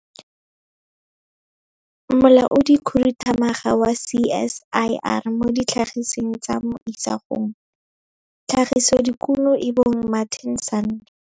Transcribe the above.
Molaodikhuduthamaga wa CSIR mo Ditlhagisweng tsa mo Isagong - Tlhagisodikuno e bong Martin Sanne.